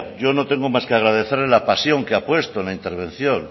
yo no tengo más que agradecerle la pasión que ha puesto en la intervención